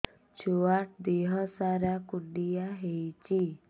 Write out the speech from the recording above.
ଛୁଆର୍ ଦିହ ସାରା କୁଣ୍ଡିଆ ହେଇଚି